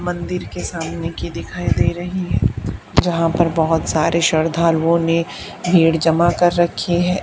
मंदिर के सामने की दिखाई दे रही है यहां पर बहुत सारे श्रद्धालुओं ने भीड़ जमा कर रखी है।